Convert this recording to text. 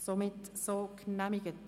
– Das ist nicht der Fall.